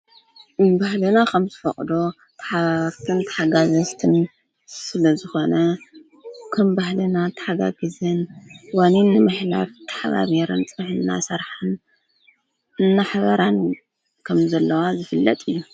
ባህልና ኸም ዝፈቕዶ ተሓባርትን ተሓጋዘስትን ስለ ዝኾነ ከም ባህለና ተሓጋጊዘን ዋኒንመኅላፍ ተሓባብርን ጽምሕና ሠርኃን እናሕበራን ከም ዘለዋ ዝፍለጥ እዩ።